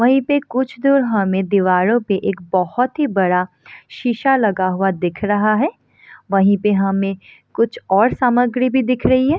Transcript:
वहीं पे कुछ दूर हमें दीवारों पे एक बहुत ही बड़ा शीशा लगा हुआ दिख रहा है वहीं पे हमें कुछ और सामग्री भी दिख रही है।